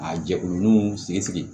A jɛkulu nuw sigi sigi